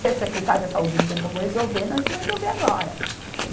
Ser secretário da saúde e não ter como resolver, nós vamos resolver agora.